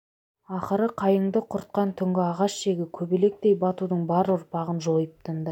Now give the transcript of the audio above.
ақыры қайыңды құртқан түнгі ағаш жегі көбелектей батудың бар ұрпағын жойып тынды